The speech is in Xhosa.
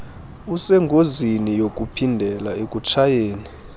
usengozini yokuphindela ekutshayeni